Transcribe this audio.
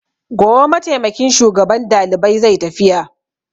Gobe mataimakin shugaban dalibai zai tafiya.